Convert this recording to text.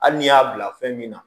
Hali n'i y'a bila fɛn min na